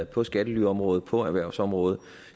på skattelyområdet på erhvervsområdet